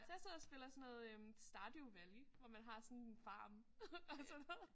Så jeg sidder og spiller sådan noget Stardew Valley hvor man har sådan en farm og sådan noget